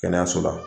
Kɛnɛyaso la